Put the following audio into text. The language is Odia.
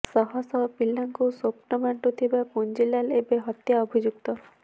ଶହ ଶହ ପିଲାଙ୍କୁ ସ୍ୱପ୍ନ ବାଣ୍ଟୁଥିବା ପୁଞ୍ଜିଲାଲ୍ ଏବେ ହତ୍ୟା ଅଭିଯୁକ୍ତ